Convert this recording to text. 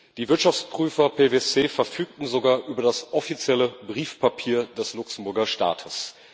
Die Wirtschaftsprüfer PwC verfügten sogar über das offizielle Briefpapier des Luxemburger Staates.